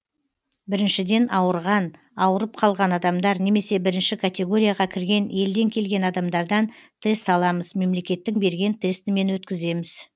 біріншіден ауырған ауырып қалған адамдар немесе бірінші категорияға кірген елден келген адамдардан тест аламыз мемлекеттің берген тестімен өткіземіз